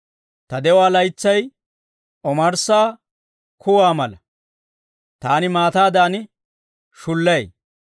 Ta de'uwaa laytsay omarssa kuwaa mala; taani maataadan shulay.